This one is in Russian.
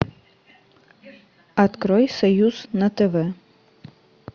открой союз на тв